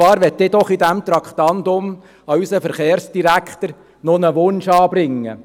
Ich möchte doch bei diesem Traktandum einen Wunsch an unseren Verkehrsdirektor anbringen: